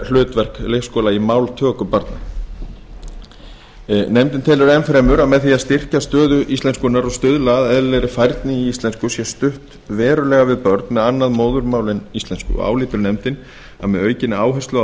hlutverk leikskóla í máltöku barna nefndin telur enn fremur að með því að styrkja stöðu íslenskunnar og stuðla að eðlilegri færni í íslensku sé stutt verulega við börn með annað móðurmál en íslensku álítur nefndin að með aukinni áherslu á